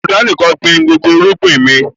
Mo Dánì kàn gbin gbogbo irúgbìn ni